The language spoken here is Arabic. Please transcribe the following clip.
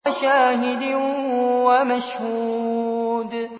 وَشَاهِدٍ وَمَشْهُودٍ